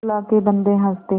अल्लाह के बन्दे हंस दे